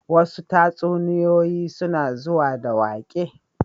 Wasu tatsuniyoyin suna zuwa da waƙe